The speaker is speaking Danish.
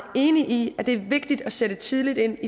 enig i at det er vigtigt at sætte tidligt ind